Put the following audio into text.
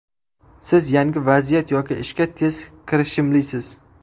Siz yangi vaziyat yoki ishga tez kirishimlisiz.